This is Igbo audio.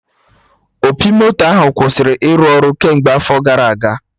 Opi moto ahụ kwụsịrị ịrụ ọrụ kemgbe afọ gara aga